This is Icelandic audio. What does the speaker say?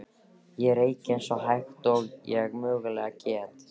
Ég reyki eins hægt og ég mögulega get.